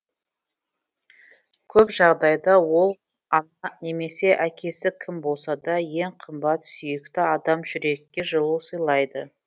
көп жағдайда ол ана немесе әкесі кім болсада ең қымбат сүйікті адам жүрекке жылу сыйлайды